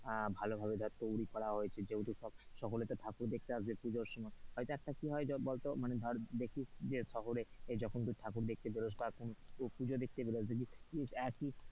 আহ ভালো ভাবে ধরে তৈরী করা হয়েছে যেহেতু সকলে তো ঠাকুর দেখতে আসবে পুজোর সময় হয়তো কি হয় মানে ধর দেখছিস যে শহরে যখন তুই ঠাকুর দেখতে বেরোস বা কোনো পুজো দেখতে বেরোস দেখবি এক ই,